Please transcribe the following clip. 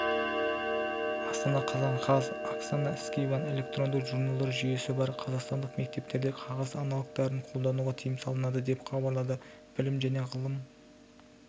астана қазан қаз оксана скибан электронды журналдар жүйесі бар қазақстандық мектептерде қағаз аналогтарын қолдануға тыйым салынады деп хабарлады білім және ғылым